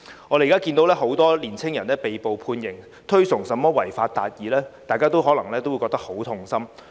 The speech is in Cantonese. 我們現時看到很多年輕人被捕、被判刑，推崇甚麼違法達義，大家可能也會覺得很痛心。